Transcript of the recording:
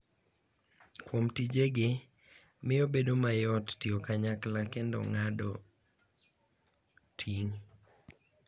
Kuom tijegi, miyo bedo mayot tiyo kanyakla kendo ng’ado ting’.